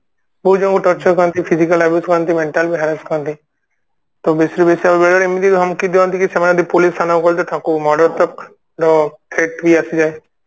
ବହୁତ ଜଣଙ୍କୁ Torture କରନ୍ତି physical abuse କରନ୍ତି mental ବି Harass କରନ୍ତି ତ ବେଶୀ ରୁ ବେଶୀ ଆଉ ବେଳେବେଳେ ଏମିତି ଧମକି ଦିଅନ୍ତି କି ସେମାନେ ଯଦି police ଆଗକୁ ଗଲେ ତାଙ୍କୁ murder tak ର Threat ବି ଆସିଯାଏ